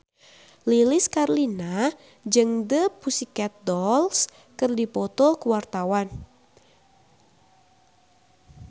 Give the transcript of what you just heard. Lilis Karlina jeung The Pussycat Dolls keur dipoto ku wartawan